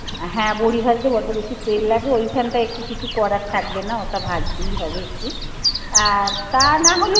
হ্যাঁ বড়ি ভাজতে বড্ড বেশি তেল লাগবে ওইখানটায় একটু কিছু করার থাকবে না ওটা ভাজতেই হবে একটু। আর তা না হলে